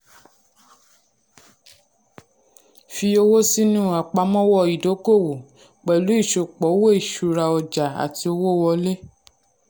fi owó sínú àpamọ́wọ́ ìdókòwó pẹ̀lú ìsopọ̀ owó ìsura ọjà àti owó wọlé.